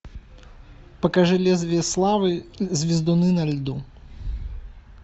покажи лезвие славы звездуны на льду